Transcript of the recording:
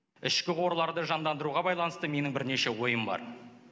ішкі қорларды жандандыруға байланысты менің бірнеше ойым бар